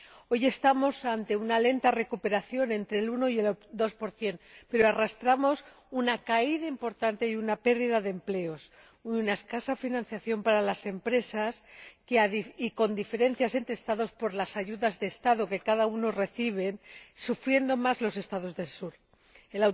Hoy estamos ante una lenta recuperación, entre el uno y el dos por cien, pero arrastramos una caída importante, pérdida de empleos y una escasa financiación para las empresas, y con diferencias entre Estados por las ayudas de Estado que cada uno recibe, siendo los Estados del Sur los que más sufren.